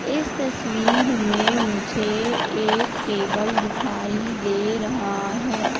इस तस्वीर में मुझे एक टेबल दिखाई दे रहा है।